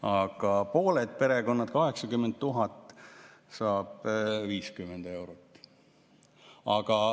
Aga pooled perekonnad, 80 000 peret saab 50 eurot.